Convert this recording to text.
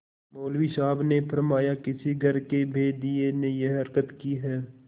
मौलवी साहब ने फरमाया किसी घर के भेदिये ने यह हरकत की है